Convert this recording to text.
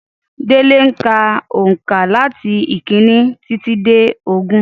Délé ń ka òǹkà làti ìkíní títí dé ogún